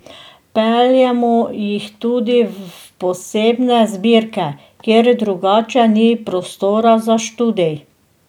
Peljemo jih tudi v posebne zbirke, kjer drugače ni prostora za študij.